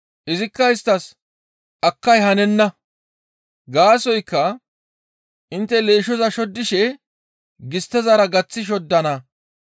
«Izikka isttas, ‹Akkay hanenna; gaasoykka intte leeshshoza shoddishe gisttezara gaththi shoddana;